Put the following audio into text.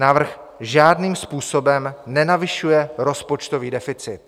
Návrh žádným způsobem nenavyšuje rozpočtový deficit.